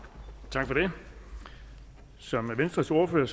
tak for det som venstres ordfører